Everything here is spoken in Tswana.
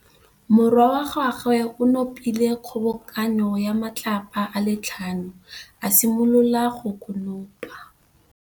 Morwa wa gagwe o nopile kgobokanô ya matlapa a le tlhano, a simolola go konopa.